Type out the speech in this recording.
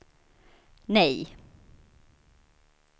nej